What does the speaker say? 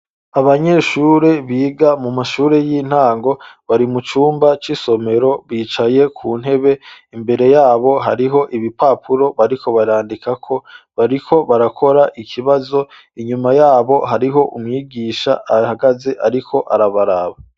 Abanyeshuri biga mu mashuri y'intango bari mu cumba c'isomero bicaye ku ntebe, imbere yabo hariho ibipapuro bariko barandikako, bariko barakora ikibazo inyuma yabo hariho umwigisha ahagaze ariko arabaraba.